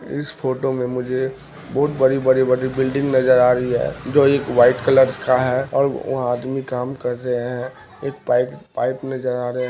इस फोटो में मुझे बहुत बड़ी-बड़ी बिल्डिंग नजर आ रही हैं जो एक वाइट कलर का हैं और वहाँ आदमी काम कर रहे है एक पाइप पाईप में जा--